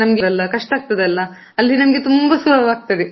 ನಮ್ಗೆ ಎಲ್ಲಾ ಕಷ್ಟ ಆಗ್ತದಲ್ಲ, ಅಲ್ಲಿ ನಮ್ಗೆ ತುಂಬಾ ಸುಲಭ ಆಗ್ತದೆ.